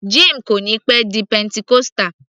Jim kò níí pẹ́ di pentecostal